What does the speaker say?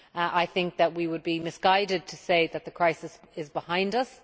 I think that it would be misguided to say that the crisis is behind us.